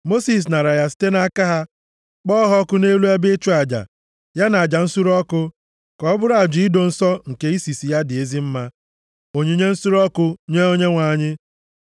Mosis naara ya site nʼaka ha, kpọọ ha ọkụ nʼelu ebe ịchụ aja, ya na aja nsure ọkụ, ka ọ bụrụ aja ido nsọ nke isisi ya dị ezi mma, onyinye nsure ọkụ nye Onyenwe anyị.